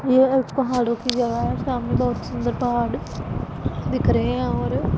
यह एक पहाड़ों की जगह है सामने बहोत सुंदर पहाड़ दिख रहे हैं और--